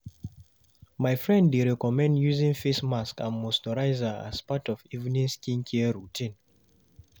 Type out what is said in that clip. My friend dey recommend using face mask and moisturizer as part of evening skincare routine.